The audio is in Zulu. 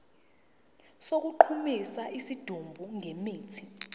sokugqumisa isidumbu ngemithi